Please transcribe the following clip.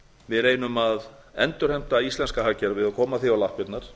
við reynum að endurheimta íslenska hagkerfið og koma því á lappirnar